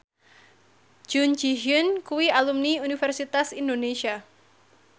Jun Ji Hyun kuwi alumni Universitas Indonesia